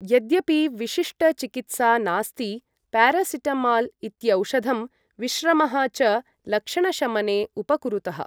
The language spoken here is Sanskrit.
यद्यपि विशिष्ट चिकित्सा नास्ति, प्यारासिटमाल् इत्यौषधं विश्रमः च लक्षणशमने उपकुरुतः।